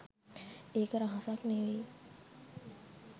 එක රහසක් නෙමෙයි.